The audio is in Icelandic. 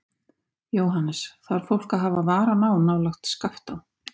Jóhannes: Þarf fólk að hafa varan á nálægt Skaftá?